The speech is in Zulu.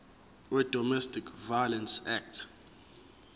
wedomestic violence act